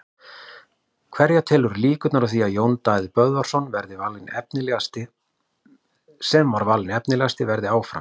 Hverja telurðu líkurnar á því að Jón Daði Böðvarsson sem valinn var efnilegastur verði áfram?